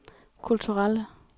kulturelle